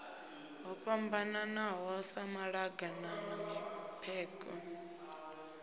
ho fhambananaho sa maḓaganana mipengo